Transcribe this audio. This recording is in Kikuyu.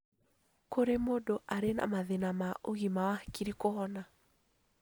Kũrĩ mũndũ arĩ na mathĩna ma ũgima wa hakiri kũhona.